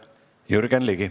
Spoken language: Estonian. Jürgen Ligi.